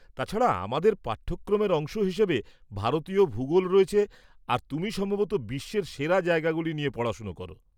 তাছাড়া, আমাদের পাঠ্যক্রমের অংশ হিসেবে ভারতীয় ভূগোল রয়েছে আর তুমি সম্ভবত বিশ্বের সেরা জায়গাগুলি নিয়ে পড়াশোনা করো!